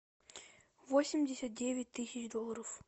восемьдесят девять тысяч долларов